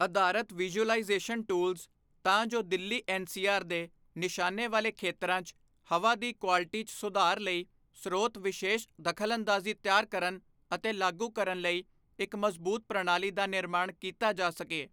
ਅਧਾਰਤ visualisation tools, ਤਾਂ ਜੋ ਦਿੱਲੀ ਐਨਸੀਆਰ ਦੇ ਨਿਸ਼ਾਨੇ ਵਾਲੇ ਖੇਤਰਾਂ ਚ ਹਵਾ ਦੀ ਕੁਆਲਟੀ ਚ ਸੁਧਾਰ ਲਈ ਸਰੋਤ ਵਿਸ਼ੇਸ਼ ਦਖਲਅੰਦਾਜ਼ੀ ਤਿਆਰ ਕਰਨ ਅਤੇ ਲਾਗੂ ਕਰਨ ਲਈ ਇਕ ਮਜ਼ਬੂਤ ਪ੍ਰਣਾਲੀ ਦਾ ਨਿਰਮਾਣ ਕੀਤਾ ਜਾ ਸਕੇ।